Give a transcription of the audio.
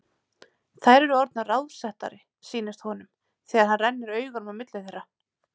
Þær eru orðnar ráðsettari, sýnist honum, þegar hann rennir augunum á milli þeirra.